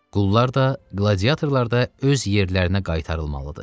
Qullar da, qladiatorlar da öz yerlərinə qaytarılmalıdır.